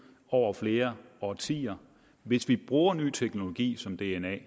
over flere årtier hvis vi bruger ny teknologi som dna